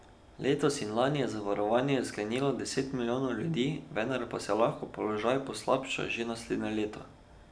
Letos in lani je zavarovanje sklenilo deset milijonov ljudi, vendar pa se lahko položaj poslabša že naslednje leto.